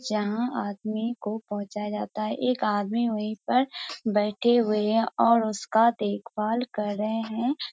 जहाँ आदमी को पहुँचाया जाता है एक आदमी वहीं पर बैठे हुए हैं और उसका देख-भाल कर रहे है।